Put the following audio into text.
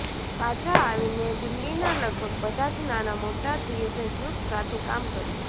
પાછા આવીને દિલ્લીનાં લગભગ બધાં જ નાનાંમોટાં થિયેટર ગ્રૂપ સાથે કામ કર્યું